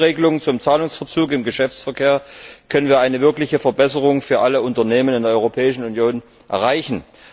Mit der Neuregelung zum Zahlungsverzug im Geschäftsverkehr können wir eine wirkliche Verbesserung für alle Unternehmen in der Europäischen Union erreichen.